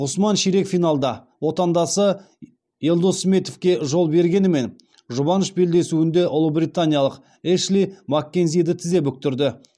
ғұсман ширек финалда отандасы елдос сметовке жол бергенімен жұбаныш белдесуінде ұлыбританиялық эшли маккензиді тізе бүктірді